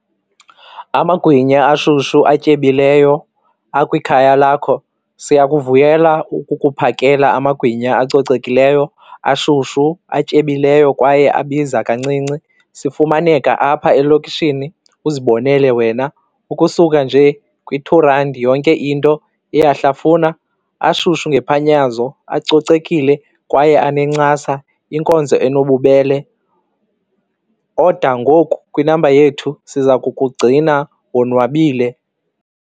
Amagwinya ashushu atyebileyo akwikhaya lakho, siyakuvuyela ukukuphakela amagwinya acocekileyo, ashushu, atyebileyo kwaye abiza kancinci. Sifumaneka apha elokishini uzibonele wena, ukusuka nje kwi-two rand yonke into iyahlafuna. Ashushu ngephanyanazo, acocekile kwaye anencasa. Inkonzo enobubele. Oda ngoku kwinamba yethu siza kukugcina wonwabile.